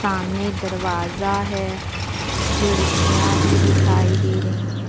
सामने दरवाजा है खिड़कियां भी दिखाई दे रही हैं।